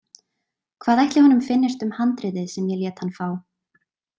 Hvað ætli honum finnist um handritið sem ég lét hann fá?